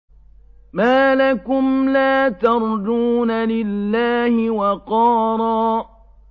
مَّا لَكُمْ لَا تَرْجُونَ لِلَّهِ وَقَارًا